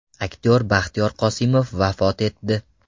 Aktyor Baxtiyor Qosimov vafot etdi.